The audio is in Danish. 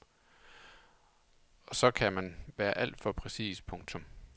Og så kan den være alt for præcis. punktum